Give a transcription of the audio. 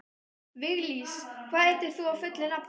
Viglís, hvað heitir þú fullu nafni?